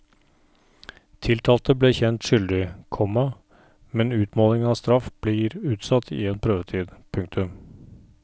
Tiltalte ble kjent skyldig, komma men utmålingen av straff blir utsatt i en prøvetid. punktum